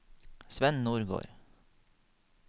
Svenn Nordgård